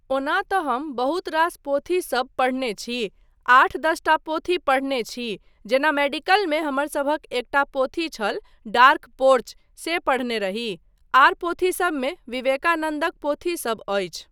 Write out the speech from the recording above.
ओना तँ हम बहुत रास पोथीसब पढ़ने छी, आठ दस टा पोथी पढ़ने छी जेना मेडिकलमे हमरसभक एकटा पोथी छल, डार्क पोर्च, से पढ़ने रही, आर पोथीसबमे विवेकानन्दक पोथीसब अछि।